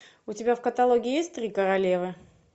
у тебя в каталоге есть три королевы